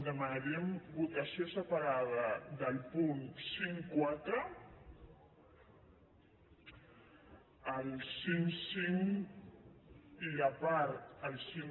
demanaríem votació separada del punt cinquanta quatre el cinquanta cinc i a part el cinc